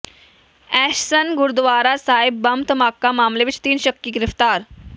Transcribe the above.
ਐਸਨ Gurdwara Sahib bomb ਧਮਾਕਾ ਮਾਮਲੇ ਵਿੱਚ ਤਿੰਨ ਸ਼ੱਕੀ ਗ੍ਰਿਫਤਾਰ